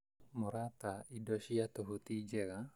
Mũrata, indo cia tũhũ ti njega